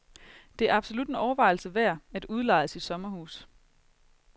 Det er absolut en overvejelse værd, at udleje sit sommerhus.